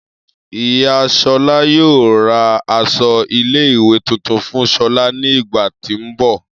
Iya Shola yoo ra aṣọ ile-iwe tuntun fun shola ni igba ti n bọ.